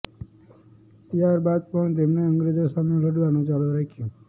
ત્યારબાદ પણ તેમણે અંગ્રેજો સામે લડવાનું ચાલુ રાખ્યું